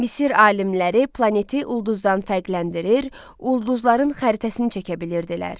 Misir alimləri planeti ulduzdan fərqləndirir, ulduzların xəritəsini çəkə bilirdilər.